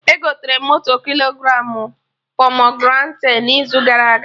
Egotere motu kilogramụ pomegranate n'izu gara aga